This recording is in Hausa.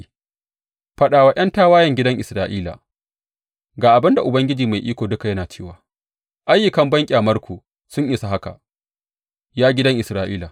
Faɗa wa ’yan tawayen gidan Isra’ila, Ga abin da Ubangiji Mai Iko Duka yana cewa ayyukan banƙyamarku sun isa haka, ya gidan Isra’ila!